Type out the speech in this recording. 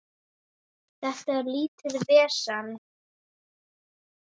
Þetta er lítið vesen.